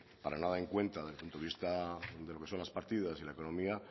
para nada en cuenta desde el punto de vista de lo que son las partidas y la economía